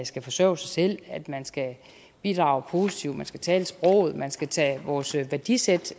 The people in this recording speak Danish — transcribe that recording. skal forsørge sig selv at man skal bidrage positivt man skal tale sproget man skal tage vores værdisæt